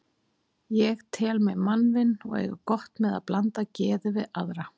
Ég tel mig mannvin og eiga gott með að blanda geði við aðra.